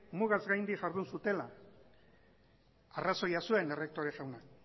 mugaz gaindu jardun zutela arrazoia zuen errektore jaunak